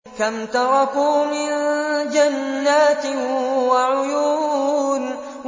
كَمْ تَرَكُوا مِن جَنَّاتٍ وَعُيُونٍ